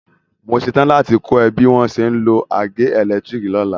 Mo ṣetán láti kọ́ ẹ bí wọ́n ṣe ń lo àgé ẹ̀lẹ́tírìkì lọ́la.